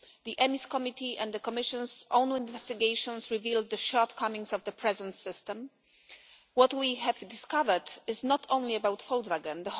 The EMIS Committee and the Commission's own investigations revealed the shortcomings of the present system. What we have discovered is not only about Volkswagen.